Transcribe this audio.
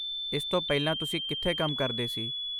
ਇਸ ਤੋਂ ਪਹਿਲਾਂ ਤੁਸੀਂ ਕਿਥੇ ਕੰਮ ਕਰਦੇ ਸੀ?